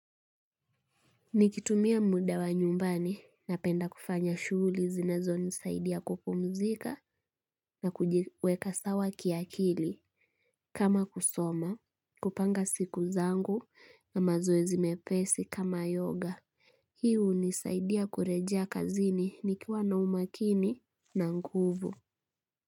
Nikitumia muda wa nyumbani napenda kufanya shughuli zinazonisaidia kupumzika na kujiweka sawa kiakili. Kama kusoma, kupanga siku zangu na mazoezi mepesi kama yoga. Hii hunisaidia kurejea kazini nikiwa na umakini na nguvu.